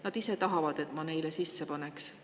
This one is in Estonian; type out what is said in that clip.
"Nad ise tahavad, et ma neile sisse paneks.